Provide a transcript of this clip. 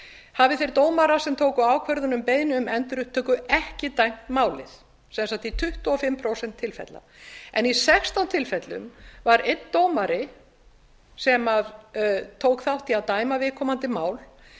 hafi þeir dómarar sem tóku ákvörðun um beiðni um endurupptöku ekki dæmt málið sem sagt í tuttugu og fimm prósent tilfella en í sextán tilvikum var einn dómari sem tók þátt í að dæma viðkomandi mál